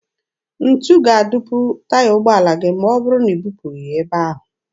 Ntu ga-adupu taya ụgbọala gị ma ọ bụrụ na i bupụghị ya ebe ahụ.